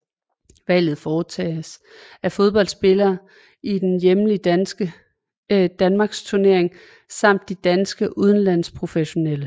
Valget foretages af fodboldspillere i den hjemlige danmarksturnering samt de danske udenlandsprofessionelle